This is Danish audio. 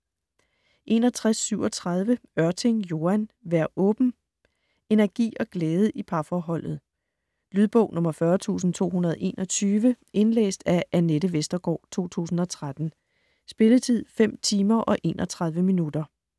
61.37 Ørting, Joan: Vær åben Energi og glæde i parforholdet. Lydbog 40221 Indlæst af Anette Vestergaard, 2013. Spilletid: 5 timer, 31 minutter.